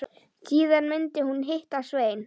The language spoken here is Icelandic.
Síðan myndi hún hitta Svein.